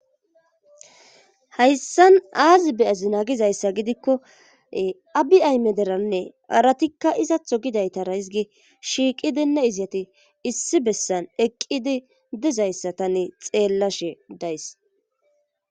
hayssan aazi beyazinagizayssa gidikko abi ayme deranne haratikka izatho gidayta raizgi shiiqidinne iziyati issi bessan eqqidi dezayssa tane xeellashe days